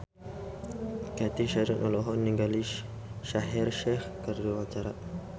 Cathy Sharon olohok ningali Shaheer Sheikh keur diwawancara